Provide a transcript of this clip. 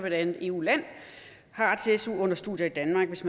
et andet eu land har ret til su under studier i danmark hvis